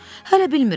Hələ bilmirəm.